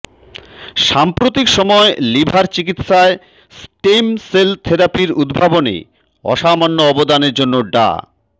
সাম্প্রতিক সময়ে লিভার চিকিৎসায় স্টেম সেল থেরাপির উদ্ভাবনে অসামান্য অবদানের জন্য ডা